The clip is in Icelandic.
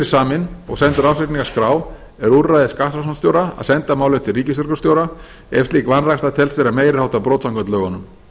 saminn og sendur ársreikningaskrá er úrræði skattrannsóknarstjóra að senda málið til ríkislögreglustjóra ef slík vanræksla telst vera meiri háttar brot samkvæmt lögunum